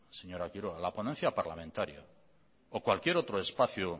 señora quiroga la ponencia parlamentaria o cualquier otro espacio